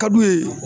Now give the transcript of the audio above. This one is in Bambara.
Ka d'u ye